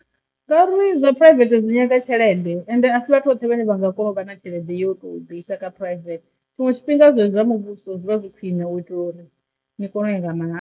Ngauri zwa private dzi nyaga tshelede ende a si vhathu vhoṱhe vhane vha nga kona u vha na tshelede yo to ḓi isa kha private tshiṅwe tshifhinga zwezwi zwa muvhuso zwi vha zwi khwine u itela uri ni kone u ya nga mahala.